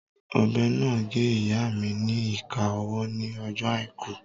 Ọ̀bẹ náà gé ìyáa mi ni ìka ọwọ́ ní ọjọ́ àìkú